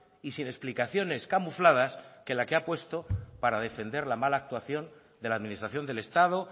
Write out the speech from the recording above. y sin explicaciones camufladas que la que ha puesto para defender la mala actuación de la administración del estado